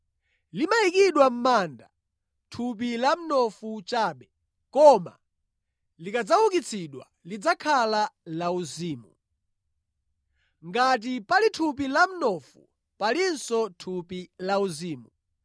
Limayikidwa mʼmanda thupi la mnofu chabe, koma likadzaukitsidwa lidzakhala lauzimu. Ngati pali thupi la mnofu, palinso thupi lauzimu.